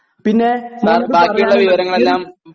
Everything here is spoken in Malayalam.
പിന്നെ മോന്